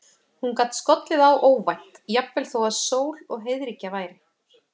Hún gat skollið á óvænt, jafnvel þó að sól og heiðríkja væri.